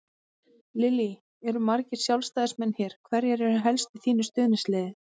Lillý: Eru margir Sjálfstæðismenn hér, hverjir eru helst í þínu stuðningsliði?